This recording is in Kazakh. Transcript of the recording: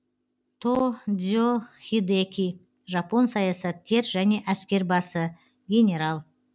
то дзе хидэки жапон саясаткер және әскербасы генерал